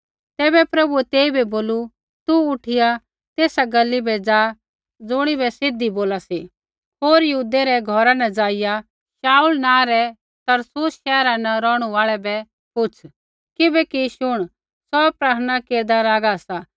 तैबै प्रभुऐ तेइबै बोलू तू उठिया तेसा गली बै ज़ा ज़ुणिबै सीधी बोला सी होर यहूदै रै घौरा न ज़ाइआ शाऊल नाँ रै तरसुसा शैहरा न रौहणु आल़ै बै पुछ़ किबैकि शुण सौ प्रार्थना केरदा लागा सा